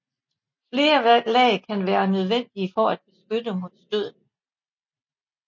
Flere lag kan være nødvendige for at beskytte mod stødene